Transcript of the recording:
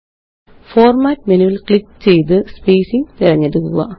format മെനുവില് click ചെയ്ത് spacing തിരഞ്ഞെടുക്കുക